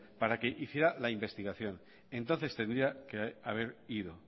para que hiciera la investigación entonces tendría que haber ido